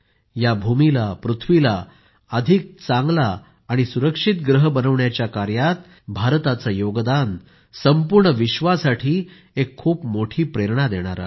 या भूमीला पृथ्वीला अधिक चांगले आणि सुरक्षित ग्रह बनविण्याच्या कार्यात भारताचे योगदान संपूर्ण विश्वासाठी एक खूप मोठी प्रेरणा देणारे आहे